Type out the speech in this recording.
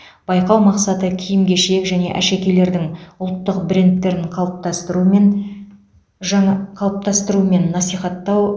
байқау мақсаты киім кешек және әшекейлердің ұлттық брендтерін қалыптастыру мен жаң қалыптастыру мен насихаттау